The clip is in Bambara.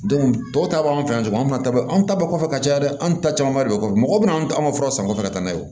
dɔw ta b'an fɛ yan tuguni an mana taa anw ta bɔ kɔfɛ ka caya dɛ an ta camanba de don mɔgɔ bɛna anw furaw san u kɔfɛ ka taa n'a ye